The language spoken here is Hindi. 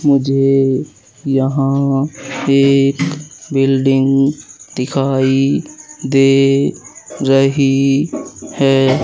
मुझे यहां एक बिल्डिंग दिखाई दे रही है।